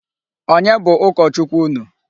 Onye bụ ụkọ Chukwu unu?